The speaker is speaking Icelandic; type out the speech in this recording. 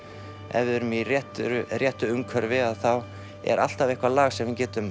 ef við erum í réttu réttu umhverfi er alltaf eitthvað lag sem við getum